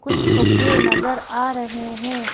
कुछ फुग्गे नजर आ रहे हैं।